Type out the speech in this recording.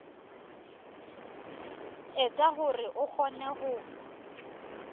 etsa hore o kgone ho